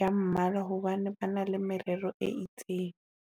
ya mmala hobane ba na le merero e itseng.